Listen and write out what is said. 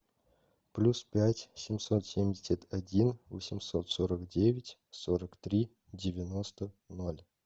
плюс пять семьсот семьдесят один восемьсот сорок девять сорок три девяносто ноль